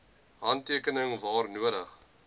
handtekening waar nodig